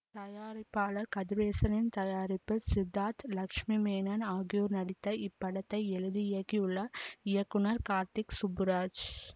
தயாரிப்பாளர் கதிரேசனின் தயாரிப்பில் சித்தார்த் லட்சுமி மேனன் ஆகியோர் நடித்த இப்படத்தை எழுதி இயக்கியுள்ளார் இயக்குனர் கார்த்திக் சுப்புராஜ்